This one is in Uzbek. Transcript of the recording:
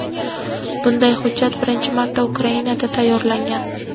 bunday hujjat birinchi marta Ukrainada tayyorlangan.